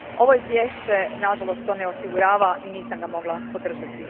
Ovo izvješće nažalost to ne osigurava i nisam ga mogla podržati.